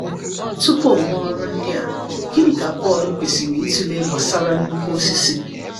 Tupu o mee ọrụ ndị a, gịnị ka Paul kwesịrị ịtụle gbasara nnukwu osisi?